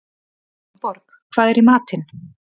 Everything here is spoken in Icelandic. Steinborg, hvað er í matinn?